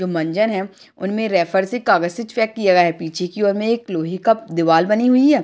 जो मंजन है उनमे रैपर से कागज को चिपकाया गया है पीछे की ओर मे एक लोहे का दीवाल बनी हुई है।